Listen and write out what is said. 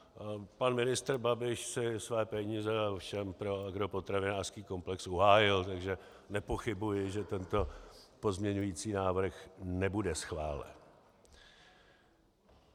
Pan ministr Babiš si své peníze ovšem pro agropotravinářský komplex uhájil, takže nepochybuji, že tento pozměňující návrh nebude schválen.